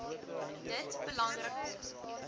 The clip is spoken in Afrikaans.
dit belangrik om